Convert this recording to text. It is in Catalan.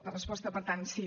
la resposta per tant sí